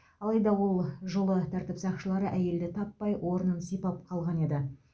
алайда ол жолы тәртіп сақшылары әйелді таппай орнын сипап қалған еді